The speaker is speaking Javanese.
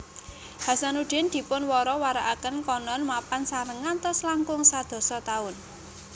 Hasanuddin dipun wara warakaken konon mapan sareng ngantos langkung sadasa taun